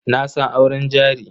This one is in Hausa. Na san auren jari.